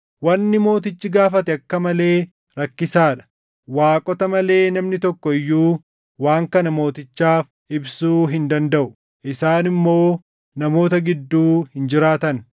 Wanni mootichi gaafate akka malee rakkisaa dha. Waaqota malee namni tokko iyyuu waan kana mootichaaf ibsuu hin dandaʼu; isaan immoo namoota gidduu hin jiraatan.”